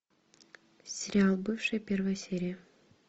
сериал бывшие первая серия